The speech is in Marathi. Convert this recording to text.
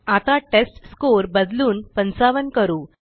आता टेस्टस्कोर बदलून 55 करू